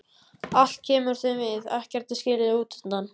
Allt kemur þeim við, ekkert er skilið útundan.